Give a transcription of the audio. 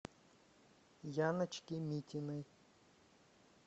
яночки митиной